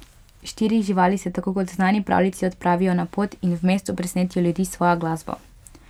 Štiri živali se, tako kot v znani pravljici, odpravijo na pot in v mestu presenetijo ljudi s svojo glasbo.